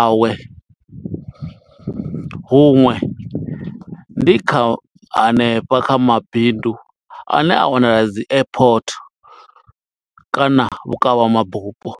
awe. Huṅwe ndi kha hanefha kha mabindu ane a wanala dzi airport, kana vhukavha mabufho.